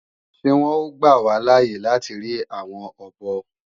Ṣé wọn ó gbà wá láàye láti ri àwọn ọ̀bọ?